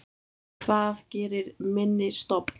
Hvað gerir minni stofn?